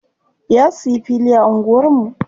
Ya siya fili a anguwar mu.